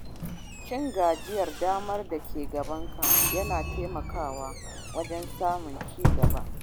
Cin gajiyar damar da ke gabanka yana taimakawa wajen samun ci gaba.